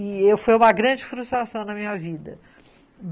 E eu fui uma grande frustração na minha vida.